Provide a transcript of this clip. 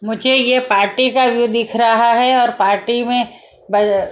मुझे ये पार्टी का ये दिख रहा है और पार्टी में--